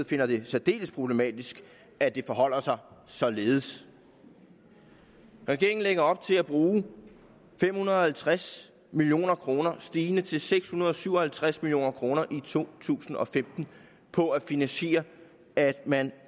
finder det særdeles problematisk at det forholder sig således regeringen lægger op til at bruge fem hundrede og tres million kroner stigende til seks hundrede og syv og halvtreds million kroner i to tusind og femten på at finansiere at man